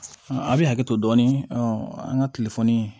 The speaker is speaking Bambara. A bɛ hakɛ to dɔɔnin an ka